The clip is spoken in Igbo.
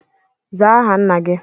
Zaa aha Nna gi!